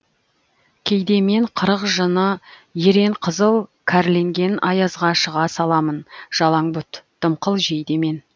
кейде мен қырық жыны ерен қызыл кәрленген аязға шыға саламын жалаңбұт дымқыл жейдемен